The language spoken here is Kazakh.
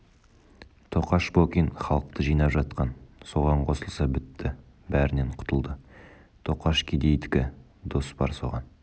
тоқаш бокин халықты жинап жатқан соған қосылса бітті бәрінен құтылды тоқаш кедейдікі дос бар соған